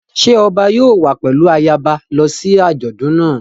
Ṣé ọba yóò wá pẹ̀lú ayaba lọ sí àjọ̀dún náà?